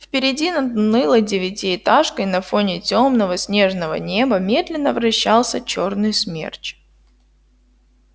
впереди над унылой девятиэтажкой на фоне тёмного снежного неба медленно вращался чёрный смерч